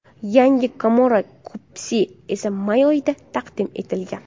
Yangi Camaro kupesi esa may oyida taqdim etilgan .